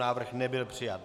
Návrh nebyl přijat.